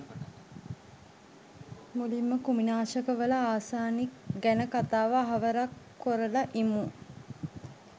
මුලින්ම කෘමිනාශකවල ආසනික් ගැන කතාව අහවරක් කොරල ඉමු